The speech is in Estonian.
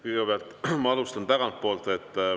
Kõigepealt, ma alustan tagantpoolt.